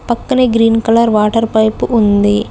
పక్కనే green colour water pipe ఉంది.